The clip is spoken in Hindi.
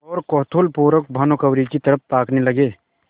और कौतूहलपूर्वक भानुकुँवरि की तरफ ताकने लगे